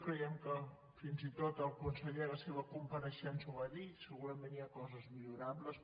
creiem que fins i tot el conseller a la seva compareixença ho va dir segura·ment hi ha coses millorables